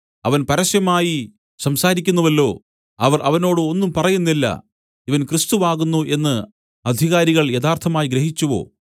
അവൻ പരസ്യമായി സംസാരിക്കുന്നുവല്ലോ അവർ അവനോട് ഒന്നും പറയുന്നില്ല ഇവൻ ക്രിസ്തു ആകുന്നു എന്നു അധികാരികൾ യഥാർത്ഥമായി ഗ്രഹിച്ചുവോ